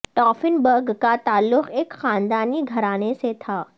ٹافن برگ کا تعلق ایک خاندانی گھرانے سے تھا